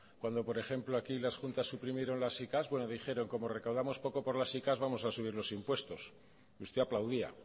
cuando por ejemplo aquí las juntas suprimieron las sicavs bueno dijeron como recaudamos poco por las sicavs vamos a subir los impuestos y usted aplaudía